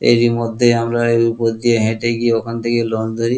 এরই মধ্যে আমরা এর ওপর দিয়ে হেটে গিয়ে ওখান থেকে লঞ্চ ধরি।